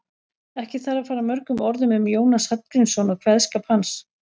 Ekki þarf að fara mörgum orðum um Jónas Hallgrímsson og kveðskap hans.